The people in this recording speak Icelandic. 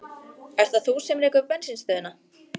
Ert það þú sem rekur bensínstöðina?